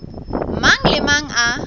mang le a mang a